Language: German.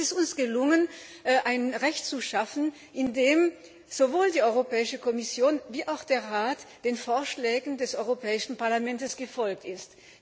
Es ist uns gelungen, ein Recht zu schaffen, in dem sowohl die Europäische Kommission wie auch der Rat den Vorschlägen des Europäischen Parlaments gefolgt ist.